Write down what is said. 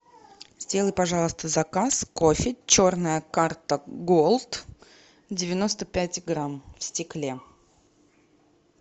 сделай пожалуйста заказ кофе черная карта голд девяносто пять грамм в стекле